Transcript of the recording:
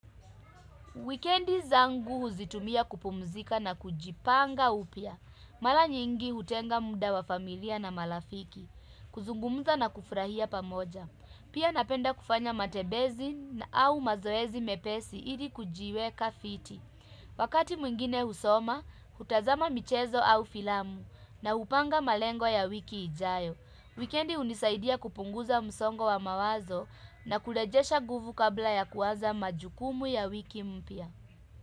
Wikendi zangu huzitumia kupumzika na kujipanga upya. Mala nyingi hutenga muda wa familia na malafiki. Kuzungumza na kufrahia pamoja. Pia napenda kufanya matebezi na au mazoezi mepesi ili kujiweka fiti. Wakati mwingine husoma, hutazama michezo au filamu na upanga malengo ya wiki ijayo. Wikendi unisaidia kupunguza msongo wa mawazo na kulejesha guvu kabla ya kuaza majukumu ya wiki mpya.